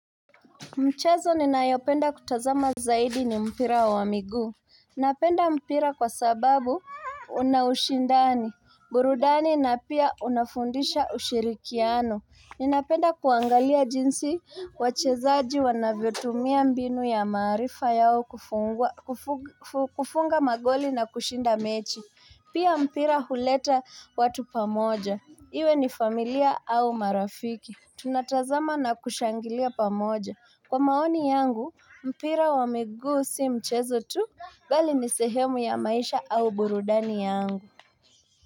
Mchezo ninayopenda kutazama zaidi ni mpira wa migu. Napenda mpira kwa sababu una ushindani, burudani na pia unafundisha ushirikiano. Ninapenda kuangalia jinsi wachezaji wanavyotumia mbinu ya marifa yao kufunga magoli na kushinda mechi. Pia mpira huleta watu pamoja. Iwe ni familia au marafiki. Tunatazama na kushangilia pamoja kwa maoni yangu mpira wa migu si mchezo tu bali ni sehemu ya maisha au burudani yangu.